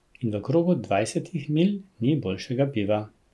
In v krogu dvajsetih milj ni boljšega piva.